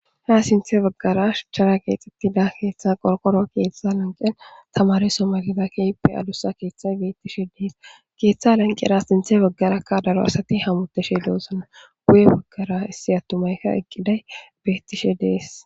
ha sinthe baggara chara keexxettida keeththa qolqoro keeththa lanqen tamariso magizakeippe alusa keeththay bettishe dees keeththa lanqera sinthe baggarakka daro asati hamuteshe deosanna guye baggara issi attumayka eqqiday bettishe dees